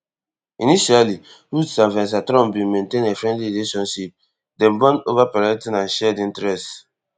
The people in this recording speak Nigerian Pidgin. initially woods and vanessa trump bin maintain a friendly relationship dem bond ova parenting and shared interests